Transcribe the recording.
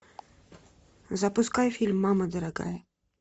запускай фильм мама дорогая